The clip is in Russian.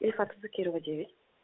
ильфата закирова девять